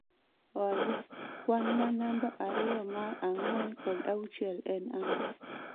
Olly kwan ma namba ariyo ma ang'wen kod auchiel en ang'o